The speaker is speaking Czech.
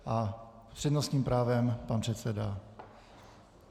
S přednostním právem pan předseda.